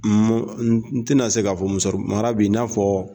N tɛna se k'a fɔ musa mara bI i n'a fɔ